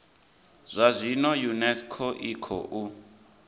zwa zwino unesco i khou